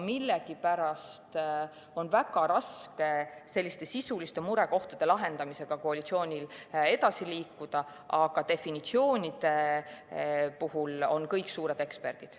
Millegipärast on koalitsioonil väga raske selliste sisuliste murekohtade lahendamisega edasi liikuda, ent definitsioonide alal on kõik suured eksperdid.